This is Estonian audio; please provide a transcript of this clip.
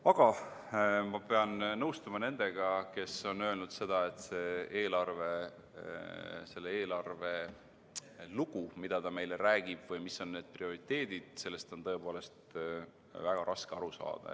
Aga ma pean nõustuma nendega, kes on öelnud, et sellest, mis on selle eelarve lugu, mida ta meile räägib, või mis on prioriteedid, on tõepoolest väga raske aru saada.